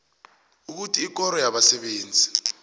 ukuthi ikoro yabasebenzi